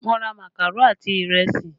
Mo ra makaro àti ìrẹsì